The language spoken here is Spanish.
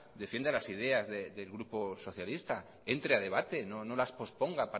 defienda las ideas del grupo socialista entre a debate no las posponga